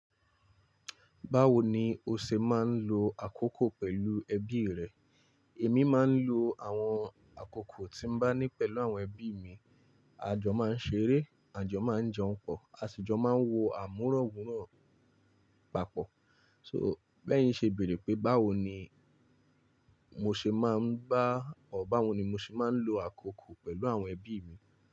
Báwo ni o ṣe máa ń lo àkókò pẹ̀lú ẹbí rẹ? Èmi máa ń lo àwọn àkókò tí mo bá ní pẹ̀lú àwọn ẹbí mi. Àjọ máa ń ṣeré, àjọ máa ń jẹun pọ̀, àṣijọ máa ń wo àmúrọ̀wùrán papọ̀. So, bẹ́ẹ̀ yin ṣe béèrè pé báwo ni mo ṣe máa ń bá ọ báwo ni mo ṣe máa ń lo àkókò pẹ̀lú àwọn ẹbí mi.